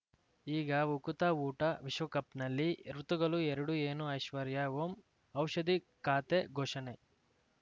ಈಗ ಉಕುತ ಊಟ ವಿಶ್ವಕಪ್‌ನಲ್ಲಿ ಋತುಗಳು ಎರಡು ಏನು ಐಶ್ವರ್ಯಾ ಓಂ ಔಷಧಿ ಖಾತೆ ಘೋಷಣೆ